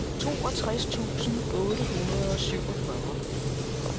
toogtres tusind otte hundrede og syvogfyrre